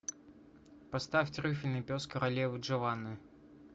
поставь трюфельный пес королевы джованны